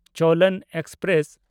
ᱪᱳᱞᱚᱱ express